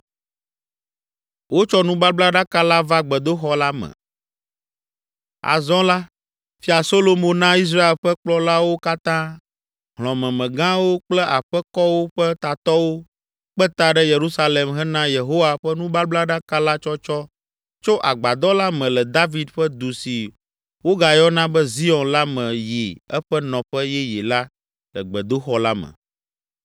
Azɔ la, Fia Solomo na Israel ƒe kplɔlawo katã, hlɔ̃memegãwo kple aƒekɔwo ƒe tatɔwo kpe ta ɖe Yerusalem hena Yehowa ƒe nubablaɖaka la tsɔtsɔ tso agbadɔ la me le David ƒe Du si wogayɔna be Zion la me yi eƒe nɔƒe yeye la le gbedoxɔ la me.